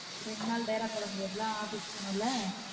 ரெண்டு நாள் டேரா போட முடியாதுல office போகனும் ல